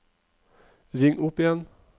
ring opp igjen